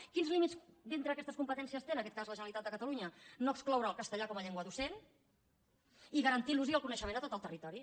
quins límits dintre d’aquestes competències té en aquest cas la generalitat de catalunya no excloure el castellà com a llengua docent i garantir ne l’ús i el coneixement de tot el territori